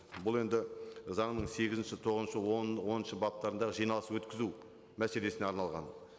бұл енді заңның сегізінші тоғызыншы оныншы баптарында жиналыс өткізу мәселесіне арналған